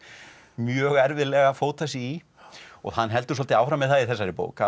mjög erfiðlega að fóta sig í og hann heldur svolítið áfram með það í þessari bók að